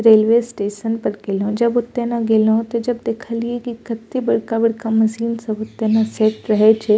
Railway station पर गेलो जब ओता ने गेलो जब देखलिए की कते बड़का-बड़का मशीन सब ओता ने सेट रहे छै।